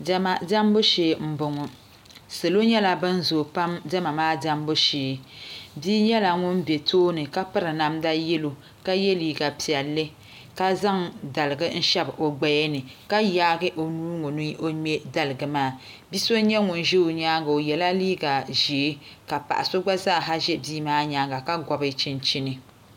Diɛma diɛmbu shee n boŋo salo nyɛla ban zooi pam diɛma maa diɛmbu shee bia nyɛla ŋun ʒi tooni ka piri namda yɛlo ka yɛ liiga piɛlli ka zaŋ daligi n shɛbi o gbaya nika yaagi o nuu n ŋo ni o ŋmɛ daligi maa bia so n nyɛ ŋun ʒɛ o nyaanga o yɛla liiga ʒiɛ ka paɣa so gba zaaha ʒɛ bia maa nyaanga ka gobi chinchini